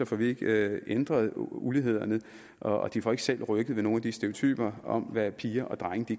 får vi ikke ændret ulighederne og de får ikke selv rykket ved nogle af de stereotyper om hvad piger og drenge